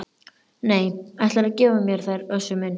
Nei, ætlarðu að gefa mér þær Össur minn?